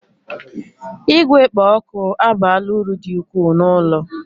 Igwe kpo oku abaala uru dị ukwuu n'ụlọ